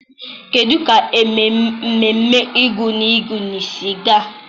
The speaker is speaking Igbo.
kedụ ka ememme egúngún si gaa?